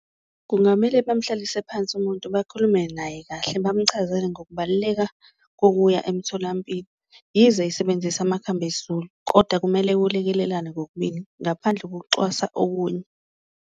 Kungamele bamhlalise phansi umuntu bakhulume naye kahle, bamchazele ngokubaluleka kokuya emtholampilo yize esebenzisa amakhambi esiZulu, koda kumele kulekelelane kokubili ngaphandle kokucwasa okunye.